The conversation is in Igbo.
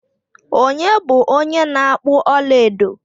Onye bu onye na akpu ọlaedo?